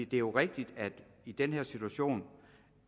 det er jo rigtigt i den her situation